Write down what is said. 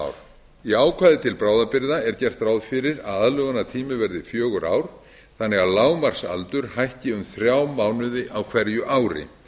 ár í ákvæði til bráðabirgða er gert ráð fyrir að aðlögunartími verði fjögur ár þannig að lágmarksaldur hækki um þrjá mánuði á hverju ári